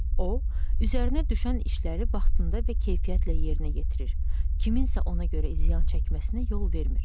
O, üzərinə düşən işləri vaxtında və keyfiyyətlə yerinə yetirir, kimsə ona görə ziyan çəkməsinə yol vermir.